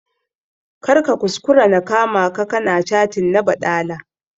Kar ka kuskura na kama ka ka na cattin na baɗala!